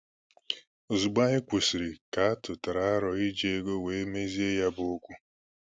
Ozugbo anyị kwụsịrị, ka atụtara aro iji ego wee mezie ya bụ okwu